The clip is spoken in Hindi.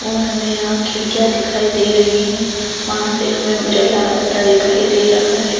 और हमें यहाँ खिड़किया दिखाई दे रही है वहाँं से हमे उजाला आता दिखाई दे रहा है।